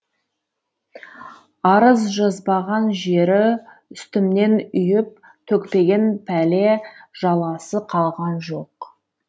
арыз жазбаған жері үстімнен үйіп төкпеген пәле жаласы қалған жоқ